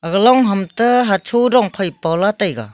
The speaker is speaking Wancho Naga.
long ham toh hocho dong phai pa lah taiga.